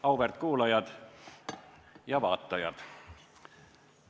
Auväärt kuulajad ja vaatajad!